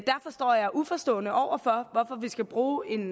står jeg uforstående over for hvorfor vi skal bruge en